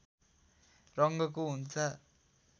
रङ्गको हुन्छ